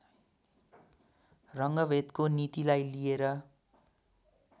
रङ्गभेदको नीतिलाई लिएर